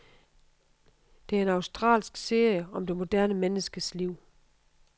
Det er en australsk serie om det moderne menneskes liv.